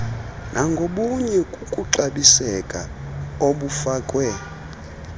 nangobunye kukuxabiseka obufakwe